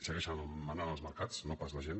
segueixen manant els mercats no pas la gent